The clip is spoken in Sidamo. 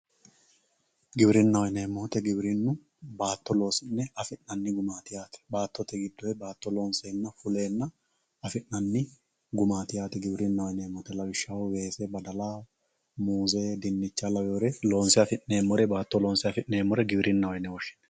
giwirinnaho yineemo wooyiite giwirinnu baatto loosi'ne afi'nanni gumaati yaate baattote gidoy baatto loonseenna fuleenna afi'nanni gumati yaate giwirinaho yineemo woyiite lawishshaho weese badala, muuze, diinicha lawiyoore loonse afi'neemore baato loonse afi'neemore giwirinnaho yine woshshinann.